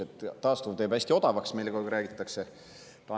Meile räägitakse kogu aeg, et taastuv teeb hästi odavaks.